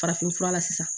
Farafinfura la sisan